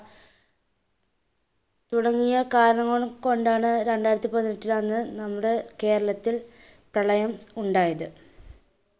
തുടങ്ങിയ കാരണങ്ങൾ കൊണ്ടാണ് രണ്ടായിരത്തി പതിനെട്ടിൽ അന്നു നമ്മുടെ കേരളത്തിൽ പ്രളയം ഉണ്ടയത്.